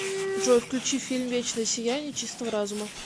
джой включи фильм вечное сияние чистого разума